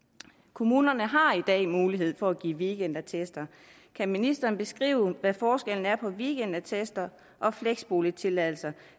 kommunerne har i dag mulighed for at give weekendattester kan ministeren beskrive hvad forskellen er på weekendattester og flexboligtilladelser